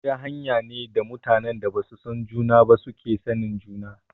Hira hanya ne da mutanen da basu san juna ba suke sanin juna